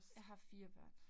Jeg har 4 børn